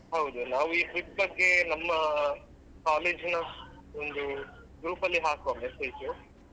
ಹೌದು ನಾವ್ ಈ trip ಬಗ್ಗೆ ನಮ್ಮ college ನ ಒಂದು group ಅಲ್ಲಿ ಹಾಕುವ message .